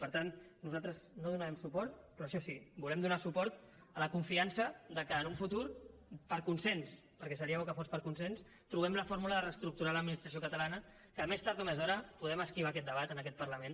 per tant nosaltres no hi donarem suport però això sí volem donar suport a la confiança que en un futur per consens perquè seria bo que fos per consens trobem la fórmula de reestructurar l’administració catalana que més tard o més d’hora podem esquivar aquest debat en aquest parlament